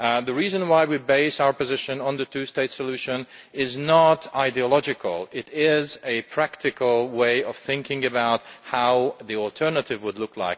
The reason why we base our position on the two state solution is not ideological it is a practical response to thinking about how the alternative would look.